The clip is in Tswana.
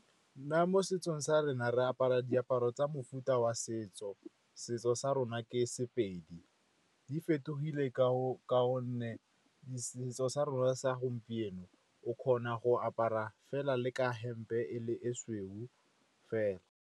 Nna mo setsong sa rona re apara diaparo tsa mofuta wa setso, setso sa rona ke Sepedi. Di fetogile ka gonne setso sa rona sa gompieno o kgona go apara fela le ka hempe e le e sweu fela.